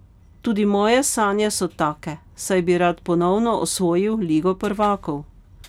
Tudi moje sanje so take, saj bi rad ponovno osvojil ligo prvakov.